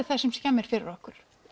það sem skemmir fyrir okkur